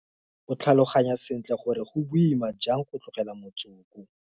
O tlhaloganya sentle gore go boima jang go tlogela motsoko.